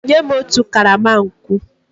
Nye m otu karama nkwụ!